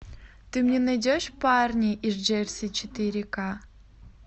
ты мне найдешь парни из джерси четыре ка